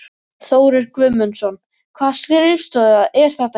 Þórir Guðmundsson: Hvaða skrifstofa er þetta hérna?